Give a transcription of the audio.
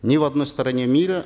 ни в одной стране мира